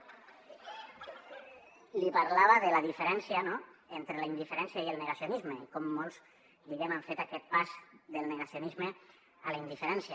li parlava de la diferència entre la indiferència i el negacionisme com molts diguem ne han fet aquest pas del negacionisme a la indiferència